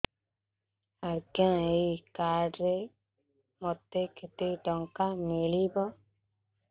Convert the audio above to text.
ଆଜ୍ଞା ଏଇ କାର୍ଡ ରେ ମୋତେ କେତେ ଟଙ୍କା ମିଳିବ